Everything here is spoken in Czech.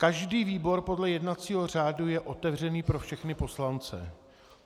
Každý výbor podle jednacího řádu je otevřený pro všechny poslance.